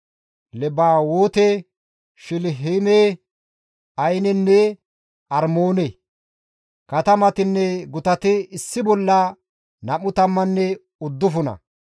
Lebawoote, Shilihiime, Ayinenne Armoone. Katamatinne gutati issi bolla nam7u tammanne uddufuna.